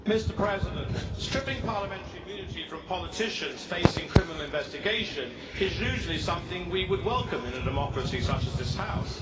Mr President, stripping parliamentary immunity from politicians facing criminal investigation is usually something we would welcome in a democracy such as this House.